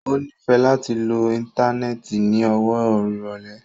O nifẹ lati lo íńtánẹ́ẹ̀tì ni ọwọ irọlẹ.